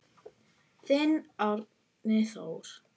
Þinn Árni Þór.